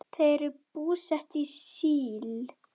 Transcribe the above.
Þau eru búsett í Síle.